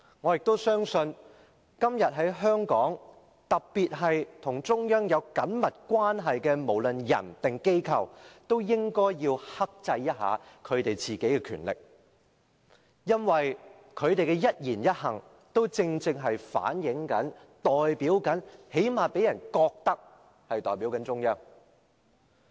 我亦相信今天在香港，特別是與中央有緊密關係的人或機構都應要克制一下自己的權力，因為他們的一言一行都代表或至少讓人覺得代表中央。